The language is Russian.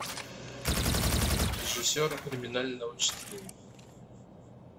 режиссер криминального чтива